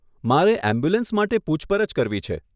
મારે એમ્બ્યુલન્સ માટે પૂછપરછ કરવી છે.